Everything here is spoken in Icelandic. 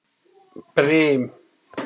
Brim